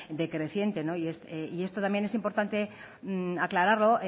decreciente y esto también es importante aclararlo